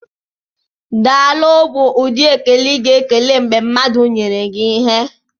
"Daalụ" bụ ụdị ekele ịga ekele mgbe mmadụ nyere gi ịhe.